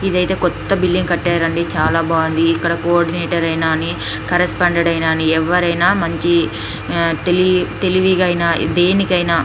ఇదైతే కొత్త బిల్డింగు కట్టారండి చాలా బాగుంది ఇక్కడ కోఆర్డినేటర్ అయినా కరస్పాండ్ అయిన ఎవరైనా మంచి తెలి తెలివిగా అయిన దేనికైన --